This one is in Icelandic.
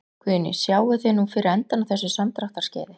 Guðný: Sjáið þið nú fyrir endann á þessu samdráttarskeiði?